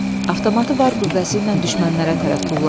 Avtomatı var gücü ilə düşmənərərə tərəf tulladı.